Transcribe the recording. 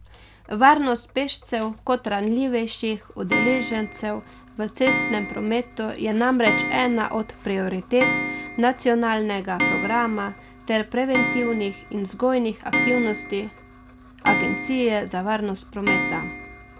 Varnost pešcev kot ranljivejših udeležencev v cestnem prometu je namreč ena od prioritet nacionalnega programa ter preventivnih in vzgojnih aktivnosti agencije za varnost prometa.